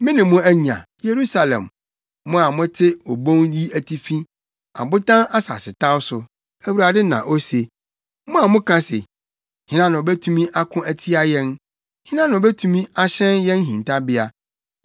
Mene mo anya, Yerusalem Mo a mote obon yi atifi abotan asasetaw so, Awurade na ose, mo a moka se, “Hena na obetumi ako atia yɛn? Hena na obetumi ahyɛn yɛn hintabea?”